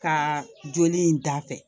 Ka joli in da fɛ